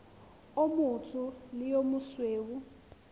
o motsho le o mosweu